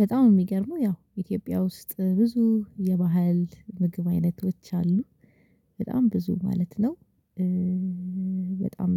በጣም የሚገርመው ያው ኢትዮጵያ ውስጥ ብዙ የባህል ምግብ አይነቶች አሉ በጣም ብዙ ማለት ነው። በጣም